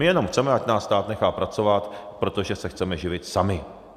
My jenom chceme, ať nás stát nechá pracovat, protože se chceme živit sami.